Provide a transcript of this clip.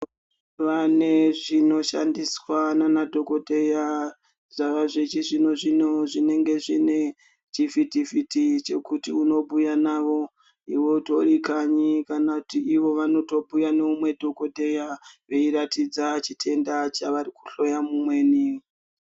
Pane zvinoshandiswa nana dhokodheya zvava zvechizvino zvino zvinenge zvine chivhiti vhiti chekuti unobhuya navo utori kanyi kana kuti ivo vanobhuya neumwe dhokodheya veiratidza chitenda chavari kuhloya umweni.